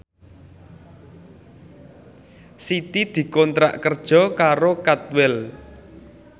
Siti dikontrak kerja karo Cadwell